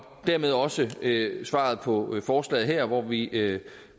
dermed er også givet svaret på forslaget her hvor vi